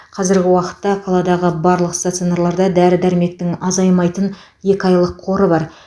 қазіргі уақытта қаладағы барлық стационарларда дәрі дәрмектің азаймайтын екі айлық қоры бар